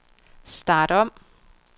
start om